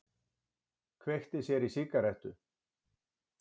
Kveikti sér í sígarettu.